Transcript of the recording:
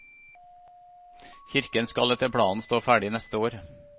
Kirken skal etter planen stå ferdig neste år.